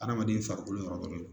Adamaden farikolo yɔrɔ dɔ de don